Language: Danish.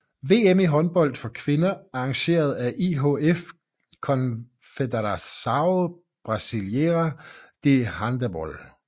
VM i håndbold for kvinder arrangeret af IHF og Confederação Brasileira de Handebol